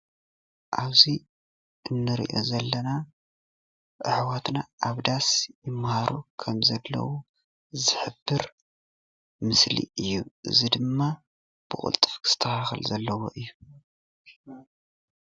ኣብዚ እንሪኦ ዘለና ኣሕዋትና ኣብ ዳስ ይማሃሩ ከም ዘለዉ ዝሕብር ምስሊ እዩ፡፡ እዚ ድማ ብቁልጡፍ ክስተካከል ዘለዎ እዩ፡፡